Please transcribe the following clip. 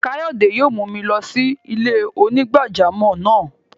Kayode yóò mù mi lọ sí ilẹ̀-onígbàjàmọ́ náà.